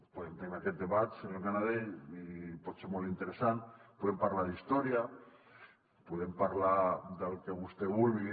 podem tenir aquest debat senyor canadell i pot ser molt interessant podem parlar d’història podem parlar del que vostè vulgui